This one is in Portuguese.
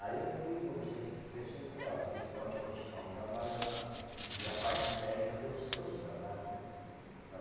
Aí eu fui e conversei com essas pessoa e falei, ó, vocês podem continuar o trabalho lá e a partir daí fazer os seus trabalho, né?